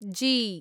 जी